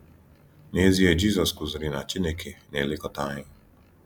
N’ezie, Jizọs kụziri na Chineke na -elekọta anyị.